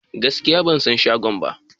Gaskiya ban san shagon ba.